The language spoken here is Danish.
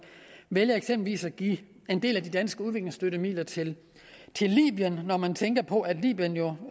vælger eksempelvis at give en del af de danske udviklingsstøttemidler til til libyen når man tænker på at libyen jo